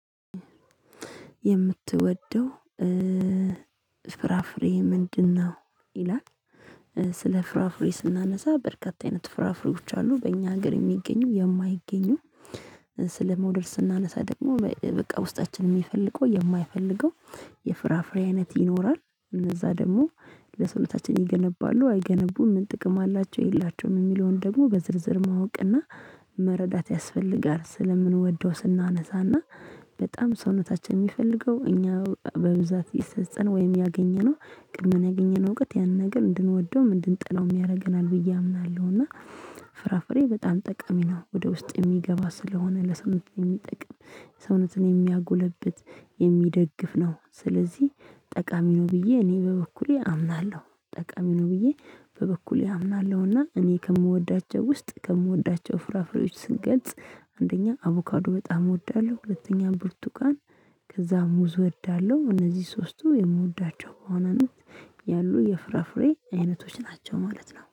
የምትወደው ፍራፍሬ ምንድነው? ይላል። ስለ ፍራፍሬ ስናነሳ በርካታ አይነት ፍራፍሬዎች አሉ በእኛ ሀገር የሚገኙ የማይገኙ። ስለመውደድ ስናነሳ ደግሞ በቃ ውስጣችን የሚፈልገው የማይፈልገው። የፍራፍሬ አይነት ይኖራል እነዛ ደግሞ ለሰውነታችን ይገነባሉ አይገነቡም ምን ጥቅም አላቸው የላቸውም የሚለውን ደግሞ በዝርዝር ማወቅና መረዳት ያስፈልጋል። ስለምንወደው ስናነሳና በጣም ሰውነታችን የሚፈልገው እኛ በብዛት ይሰጠን ወይም ያገኘነው ቅድመ ያገኘነው እውቀት ያንን ነገር እንድንወደውም እንድንጠላውም ያደርገናል ብዬ አምናለሁ። እና ፍራፍሬ በጣም ጠቃሚ ነው። ወደ ውስጥ የሚገባ ስለሆነ ለሰውነት የሚጠቅም ሰውነትን የሚያጎለብት የሚደግፍ ነው። ስለዚህ ጠቃሚ ነው ብዬ እኔ በበኩሌ አምናለሁ። ጠቃሚ ነው ብዬ በበኩሌ አምናለሁና እኔ ከምወዳቸው ውስጥ ከምወዳቸው ፍራፍሬዎች ስንገልፅ አንደኛ አቮካዱ በጣም እወዳለሁ። ሁለተኛ ብርቱቃን ከዛ ሙዝ እወዳለሁ። እነዚህ ሶስቱ የምወዳቸው በዋነነት ያሉ የፍራፍሬ አይነቶች ናቸው ማለት ነው